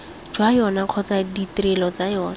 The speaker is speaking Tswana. jwa yona kgotsa ditrelo ga